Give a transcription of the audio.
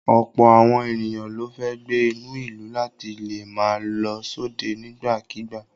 Ọ̀pọ̀ àwọn ènìyàn ló fẹ́ gbé inú ìlú láti lè máa lọ sóde nígbà kigbà.